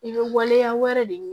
I bɛ waleya wɛrɛ de ɲini